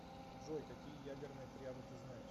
джой какие ядерная триада ты знаешь